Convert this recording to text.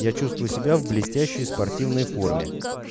я чувствую себя в блестящей спортивной форме